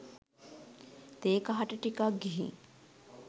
තේ කහට ටිකක් ගිහිං